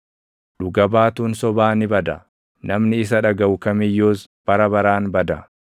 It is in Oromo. Dhuga baatuun sobaa ni bada; namni isa dhagaʼu kam iyyuus bara baraan bada.